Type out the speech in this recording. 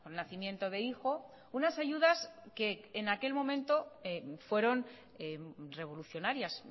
nacimiento de hijo unas ayudas que en aquel momento fueron revolucionarias